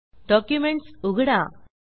documents उघडा